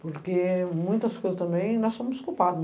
Porque muitas coisas também nós somos culpado.